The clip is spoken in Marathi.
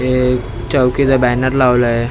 हे चौकीचं बॅनर लावलं आहे ते--